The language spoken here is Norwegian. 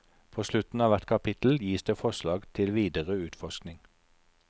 På slutten av hvert kapittel gis det forslag til videre utforskning.